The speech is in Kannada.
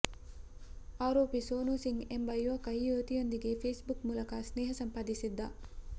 ಆರೋಪಿ ಸೋನು ಸಿಂಗ್ ಎಂಬ ಯುವಕ ಈ ಯುವತಿಯೊಂದಿಗೆ ಫೇಸ್ ಬುಕ್ ಮೂಲಕ ಸ್ನೇಹ ಸಂಪಾದಿಸಿದ್ದ